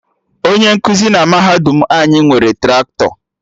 Onye nkụzi na mahadum anyị nwere Traktọ